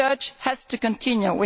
Research has to continue.